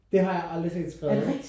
Det har jeg aldrig set skrevet